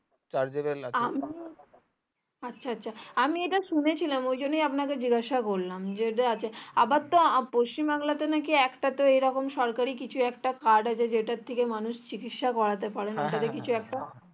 আচ্ছা আচ্ছা আমি ইটা শুনি ছিলাম ওই জন্যে আপনাকে জিজ্ঞাসা করলাম যে আছে আবার তো পশ্চিম বাংলাতে নাকি একটাতে এরকম সরকারি কিছু আক্রা card আছে যেটা থেকে মানুষ চিকিৎসা করতে পারে